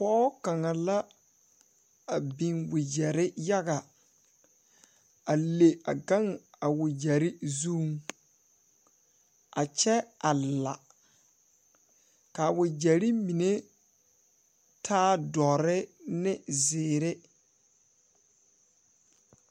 Pɔɔ kaŋa la a biŋ wagyɛrre yaga a le a gaŋ a wagyɛrre zuŋ a kyɛ a la kaa wagyɛrre mine taa dɔre ne zeere.